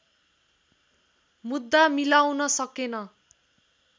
मुद्दा मिलाउन सकेन